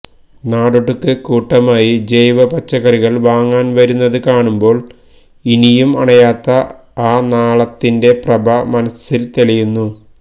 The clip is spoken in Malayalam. നാടൊട്ടുക്ക് കൂട്ടമായി ജൈവ പച്ചക്കറികൾ വാങ്ങാൻ വരുന്നത് കാണുന്പോൾ ഇനിയും അണയാത്ത ആ നാളത്തിന്റെ പ്രഭ മനസ്സിൽ തെളിയുന്നു